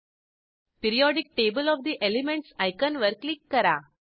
periodic table of the elements आयकॉनवर click करा